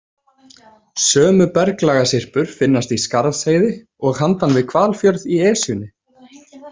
Sömu berglagasyrpur finnast í Skarðsheiði og handan við Hvalfjörð í Esjunni.